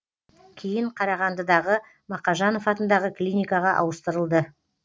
кейін қарағандыдағы мақажанов атындағы клиникаға ауыстырылды